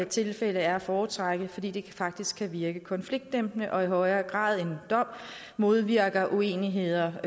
tilfælde er at foretrække fordi det faktisk kan virke konfliktdæmpende og i højere grad end en dom modvirker uenigheder